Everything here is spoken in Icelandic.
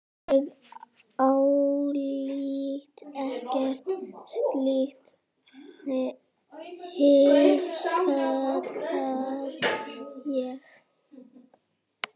Ég álít ekkert slíkt, hiksta ég.